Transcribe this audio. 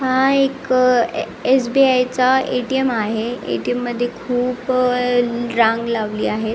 हा एक अ ये एस.बी.आय. चा ए.टी.एम. आहे ए.टी.एम. मध्ये खुप अ रांग लावली आहे.